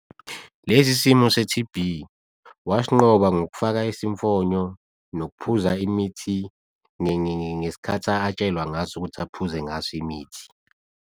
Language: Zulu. Lesi simo se-T_B wasinqoba ngokufaka isimfonyo, nokuphuza imithi ngesikhathi atshelwa ngaso ukuthi aphuze ngaso imithi.